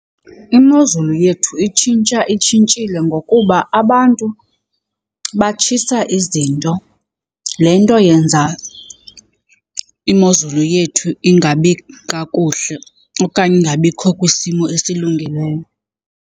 Imozulu yethu itshintsha itshintshile ngokuba abantu batshisa izinto, le nto yenza imozulu yethu ingabi kakuhle okanye ingabikho kwisimo esilungileyo.